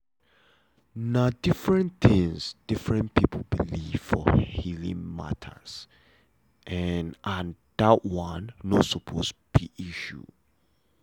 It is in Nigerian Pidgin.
na different things different people believe for healing matter and that one no suppose be issue.